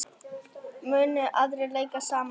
Munu aðrir leika sama leik?